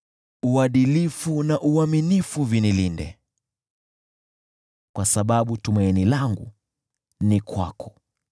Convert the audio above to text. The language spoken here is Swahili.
Uadilifu na uaminifu vinilinde, kwa sababu tumaini langu ni kwako.